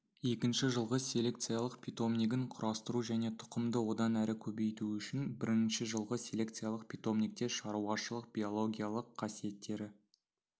екінші жылғы селекциялық питомнигін құрастыру және тұқымды одан әрі көбейту үшін бірінші жылғы селекциялық питомникте шаруашылық биологиялық қасиеттері